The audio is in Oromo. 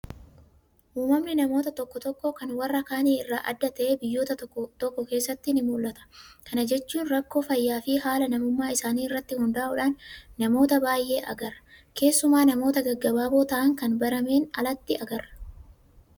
Uumamni namoota tokko tokkoo kan warra kaanii irraa adda ta'ee biyyoota tokko tokko keessatti nimul'ata. Kana jechuun rakkoo fayyaafi haala namummaa isaanii irratti hundaa'uudhaan namoota baay'ee agarra. Keessumaa namoota gaggabaaboo ta'an kan barameen alatti agarra.